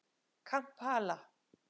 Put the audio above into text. Kampala